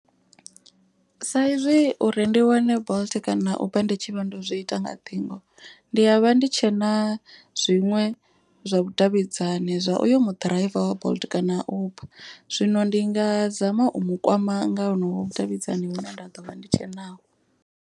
Sa izwi uri ndi wane bolt kana uber ndi tshivha ndo zwi ita nga ṱhingo. Ndi ya vha ndi tshena zwiṅwe zwa vhudavhidzani zwa uyo mu ḓiraiva wa bolt kana uber. Zwino ndi nga zama u mu kwama nga honovho vhudavhidzani vhune nda ḓo vha ndi tshe naho.